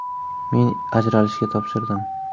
Men ajralishga topshirdim.